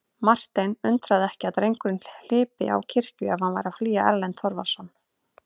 Martein undraði ekki að drengurinn hlypi á kirkju ef hann var að flýja Erlend Þorvarðarson.